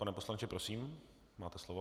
Pane poslanče, prosím, máte slovo.